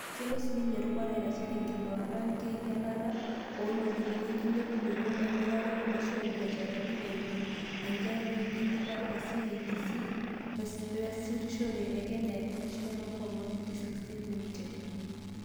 Kelo sininye erubata aitashe te nkibungata wenkinyialata o ntokitin, enkilepunoto emirare olosho o biasharani eimu enjetare wenkidipa e CIDC o easishore e Kenya National Multi-Commodities Exchange Limited (KOMEX).